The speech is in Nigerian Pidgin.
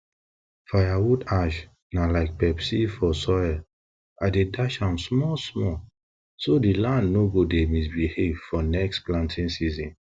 firewood ash na like pepsi for soil i dey dash am smallsmall so di land no go dey misbehave for next planting season